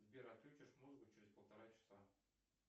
сбер отключишь музыку через полтора часа